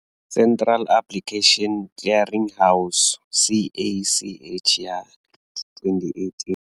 Central Application Clearing House CACH ya 2018.